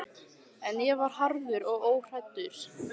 En ég var harður og óhræddur.